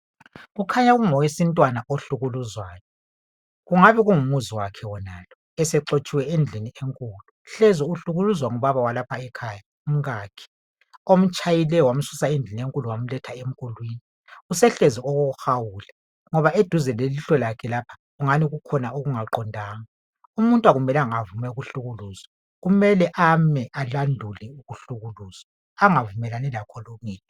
Kukhanya kungowesintwana ohlukuluzwayo. Kungabe kungumuzi wakhe wonalo esexotshiwe endlini enkulu. Hlezi uhlukuluzwa ngubaba walapha ekhaya umkakhe omtshayileyo wamsusa endlini enkulu wamletha emkulwini. Usehlezi okokuhawula ngoba eduze lelihlo lakhe lapha ingani kukhona okungaqondanga. Umuntu akumelanga avume ukuhlukuluzwa kumele ame alandule ukuhlukuluzwa angavumelani lakho yedwa.